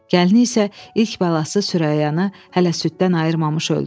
Gəlini isə ilk balası Sürəyyanı hələ süddən ayırmamış öldü.